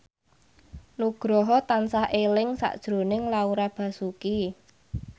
Nugroho tansah eling sakjroning Laura Basuki